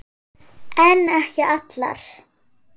En ekki allar.